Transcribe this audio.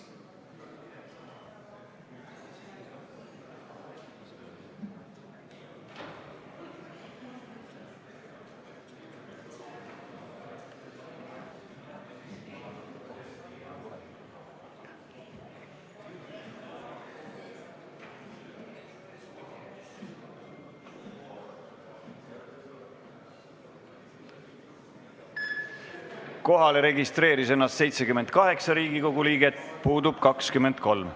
Kohaloleku kontroll Kohalolijaks registreeris ennast 78 Riigikogu liiget, puudub 23.